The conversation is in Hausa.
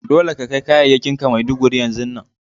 Dolle ka kai kayakin ka Maiduguri yanzun nan!